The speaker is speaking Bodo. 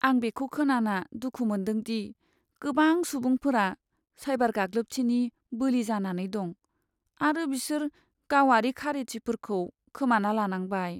आं बेखौ खोनाना दुखु मोन्दों दि, गोबां सुबुंफोरा साइबार गाग्लोबथिनि बोलि जानानै दं आरो बिसोर गावारि खारिथिफोरखौ खोमाना लानांबाय।